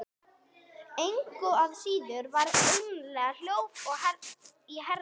Engu að síður var eymdarlegt hljóðið í herra